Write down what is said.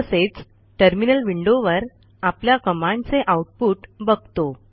तसेच टर्मिनल विंडोवर आपल्या कमांडचे आउटपुट बघतो